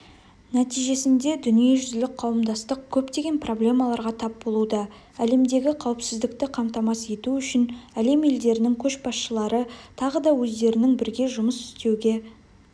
нәтижесінде дүниежүзілік қауымдастық көптеген проблемаларға тап болуда әлемдегі қауіпсіздікті қамтамасыз ету үшін әлем елдерінің көшбасшылары тағы да өздерінің бірге жұмыс істеуге